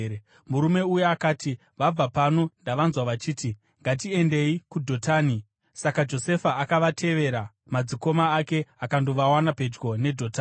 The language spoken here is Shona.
Murume uya akati, “Vabva pano, ndavanzwa vachiti, ‘Ngatiendei kuDhotani.’ ” Saka Josefa akatevera madzikoma ake akandovawana pedyo neDhotani.